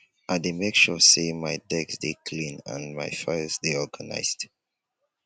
i dey make sure say my desk dey clean and my files dey organized